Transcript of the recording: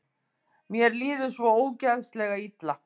Mér líður svo ógeðslega illa.